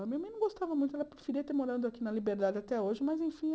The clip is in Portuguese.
Minha mãe não gostava muito, ela preferia ter morado aqui na Liberdade até hoje, mas enfim,